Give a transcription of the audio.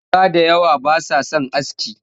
Yara da yawa ba sa son aski